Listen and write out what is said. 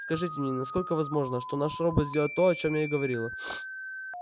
скажите мне насколько возможно что наш робот сделает то о чем я и говорила